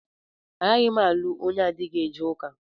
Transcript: Agaghị m alụ onye adịghị eje ụka.